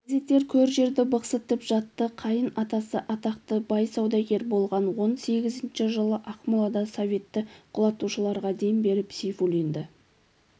газеттер көр-жерді бықсытып жатты қайын атасы атақты бай-саудагер болған он сегізінші жылы ақмолада советті құлатушыларға дем беріп сейфуллинді